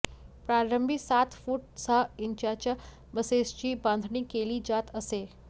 प्रारंभी सात फूट सहा इंचाच्या बसेसची बांधणी केली जात असे